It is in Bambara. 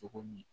Cogo min